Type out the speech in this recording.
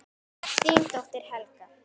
Þín dóttir, Helga.